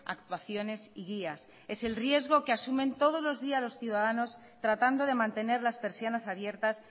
actuaciones y guías es el riesgo que asumen todos los días los ciudadanos tratando de mantener las persianas abiertas